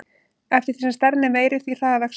Eftir því sem stærðin er meiri, því hraðar vex hún.